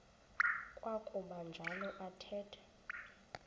kwakuba njalo athetha